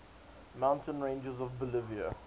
mountain ranges of bolivia